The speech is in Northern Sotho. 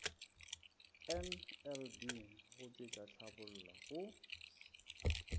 nlb go tšwetša tlhabolla go